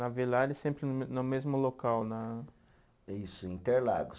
Na Villares, sempre no mesmo local, na. Isso, Interlagos.